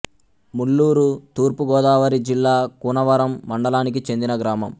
ముల్లూరు తూర్పు గోదావరి జిల్లా కూనవరం మండలానికి చెందిన గ్రామం